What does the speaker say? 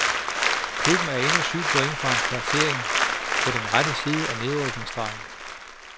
Klubben er endnu syv point fra en placering på den rette side af nedrykningsstregen.